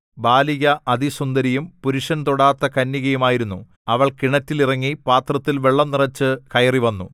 ബാലിക അതിസുന്ദരിയും പുരുഷൻ തൊടാത്ത കന്യകയും ആയിരുന്നു അവൾ കിണറ്റിൽ ഇറങ്ങി പാത്രത്തിൽ വെള്ളം നിറച്ച് കയറി വന്നു